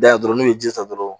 Da dɔrɔn n'i bɛ ji ta dɔrɔn